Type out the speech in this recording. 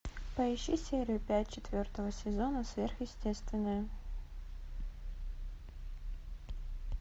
поищи серию пять четвертого сезона сверхъестественное